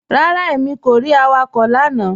Rárá, èmi kò rí awakọ̀ lánà